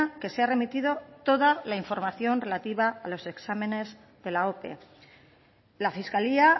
que se ha remitido toda la información relativa a los exámenes de la ope la fiscalía